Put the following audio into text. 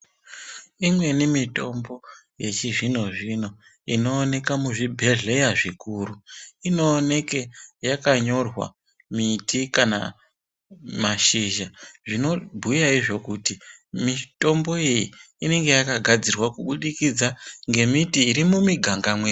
Mimweni mitombo yechizvinozvino inooneka muzvibhedhlera zvikuru inoonekwa yakanyorwa miti kana mashizha, zvinobhuya izvo kuti mitombo iyi inenge yakagadzirwa kubudikidza ngemiti irimumiganga mwedu.